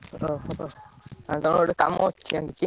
ଓହୋ ଆଉ ତମପାଖରେ ଟିକେ କାମ ଅଛି।